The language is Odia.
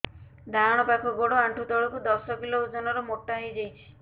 ଡାହାଣ ପାଖ ଗୋଡ଼ ଆଣ୍ଠୁ ତଳକୁ ଦଶ କିଲ ଓଜନ ର ମୋଟା ହେଇଯାଇଛି